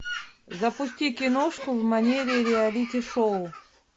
запусти киношку в манере реалити шоу